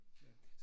Ja